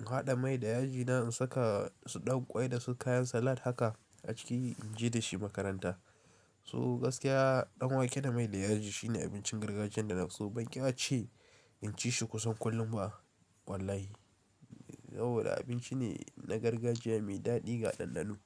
in haɗa mai da yaji na in saka su ɗan ƙwai da su kayan salat haka a ciki in je da shi makaranta. So gaskiya danwake da mai da yaji shine abincin gargajiyan da na fi so. Ban ƙi ace in ci shi kusan kullum ba wallahi. Saboda abinci ne na gargajiya mai daɗi ga ɗanɗano.